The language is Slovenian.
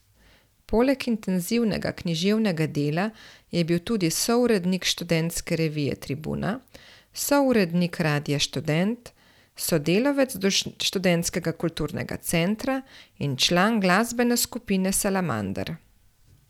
Poleg intenzivnega književnega dela je bil tudi sourednik študentske revije Tribuna, sourednik Radia Študent, sodelavec Študentskega kulturnega centra in član glasbene skupine Salamander.